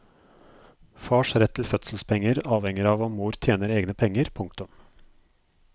Fars rett til fødselspenger avhenger av om mor tjener egne penger. punktum